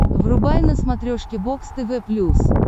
врубай на смотрешке бокс тв плюс